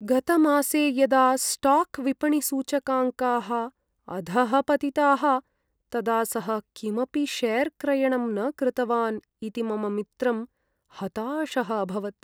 गतमासे यदा स्टाक् विपणिसूचकाङ्काः अधः पतिताः तदा सः किमपि शेर् क्रयणं न कृतवान् इति मम मित्रं हताशः अभवत्।